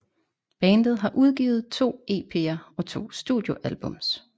Bandet har udgivet to EPer og to studio albums